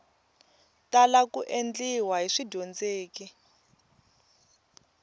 tala ku endliwa hi swidyondzeki